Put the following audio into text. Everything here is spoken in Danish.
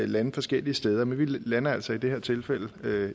lande forskellige steder men vi lander altså i det her tilfælde